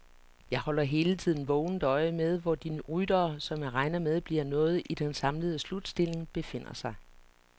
Jeg holder hele tiden vågent øje med, hvor de ryttere, som jeg regner med bliver noget i den samlede slutstilling, befinder sig.